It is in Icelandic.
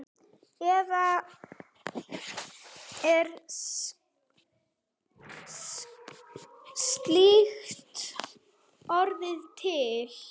Eða er slíkt orð til?